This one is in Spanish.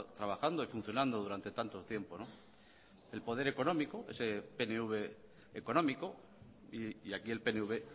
trabajando y funcionando durante tanto tiempo el poder económico ese pnv económico y aquí el pnv